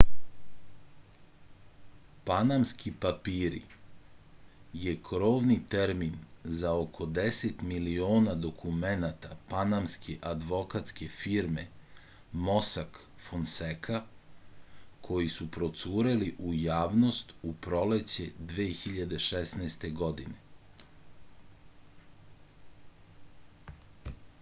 panamski papiri je krovni termin za oko 10 miliona dokumenata panamske advokatske firme mosak fonseka koji su procureli u javnost u proleće 2016. godine